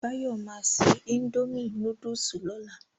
Báyọ̀ ma ṣe indomie núdúsì lọ́la